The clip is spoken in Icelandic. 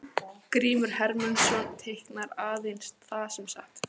Grímur Hermundsson teiknar aðeins það sem er satt.